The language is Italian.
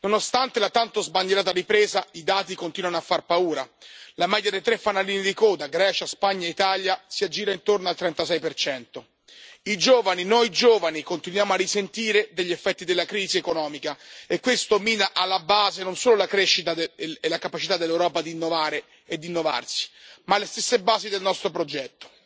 Nonostante la tanto sbandierata ripresa i dati continuano a far paura la media dei tre fanalini di coda Grecia, Spagna e Italia si aggira intorno al 36 I giovani, noi giovani, continuiamo a risentire degli effetti della crisi economica e questo mina alla base non solo la crescita e la capacità dell'Europa di innovare ed innovarsi, ma le stesse basi del nostro progetto.